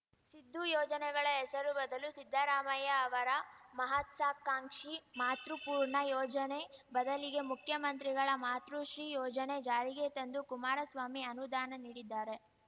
ಸಿದ್ದು ಯೋಜನೆಗಳ ಹೆಸರು ಬದಲು ಸಿದ್ದರಾಮಯ್ಯ ಅವರ ಮಹತ್ಸಾಕಾಂಕ್ಷಿ ಮಾತೃಪೂರ್ಣ ಯೋಜನೆ ಬದಲಿಗೆ ಮುಖ್ಯಮಂತ್ರಿಗಳ ಮಾತೃಶ್ರೀ ಯೋಜನೆ ಜಾರಿಗೆ ತಂದು ಕುಮಾರಸ್ವಾಮಿ ಅನುದಾನ ನೀಡಿದ್ದಾರೆ